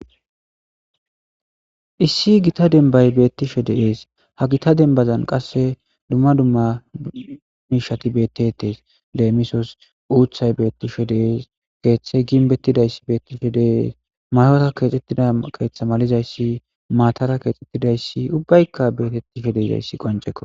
Issi gita denbay beettishe deees ha gita denbazan qasse dumma dumma miishati bettetees leemisos uuthay beettishe dees keeththey ginbettidayssi beettishe dees mayota keexxettida keeththa malizayssi maatara keexxettidayssi ubbaykka beetettishe deezayssi qonceko.